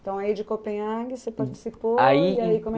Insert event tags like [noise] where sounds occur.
Então, aí de Copenhage você participou [unintelligible]